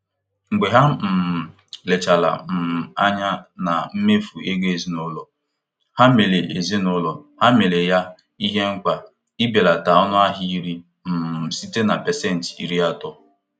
Mgbe ha um lebachara um anya na mmefu ego ezinụlọ, ha mere ezinụlọ, ha mere ya ihe mkpa ibelata ọnụahịa nri um site na pasentị iri atọ.